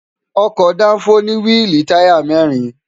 ọkọ̀ dáńfó ní wíìlì táyà mẹ́rin